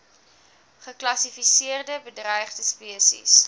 geklassifiseerde bedreigde spesies